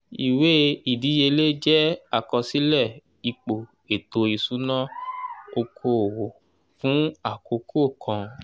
ìwé ìdíyelé jẹ́ àkọsílẹ̀ ipò ètò ìṣúná oko òwò fún àkókò kan.